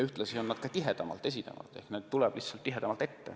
Ühtlasi esineb kahjustusi enam ja neid tuleb tihedamini ette.